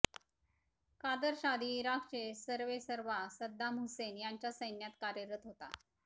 कार्दश आधी इराकचे सर्वेसर्वा सद्दाम हुसेन यांच्या सैन्यात कार्यरत होता